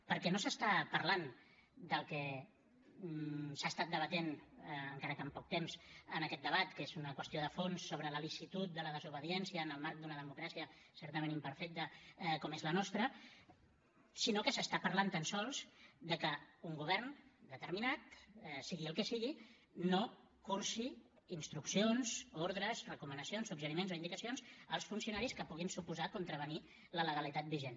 perquè no s’està parlant del que s’ha estat debatent encara que amb poc temps en aquest debat que és una qüestió de fons sobre la licitud de la desobediència en el marc d’una democràcia certament imperfecta com és la nostra sinó que s’està parlant tan sols de que un govern determinat sigui el que sigui no cursi instruccions ordres recomanacions suggeriments o indicacions als funcionaris que puguin suposar contravenir la legalitat vigent